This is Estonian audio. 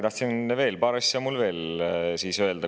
Paar asja on mul veel öelda.